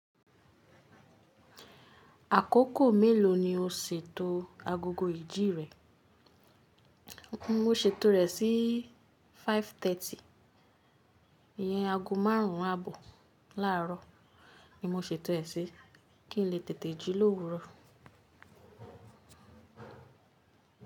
Àkókò mélòó ni o ṣètò agogo ìjì rẹ? Mo ṣètò rẹ̀ sí 5:30. Ìyẹn aago márùn ún àbọ̀ láàárọ̀ ni mo ṣètò ẹ sí kí n lè tètè jí lówuro.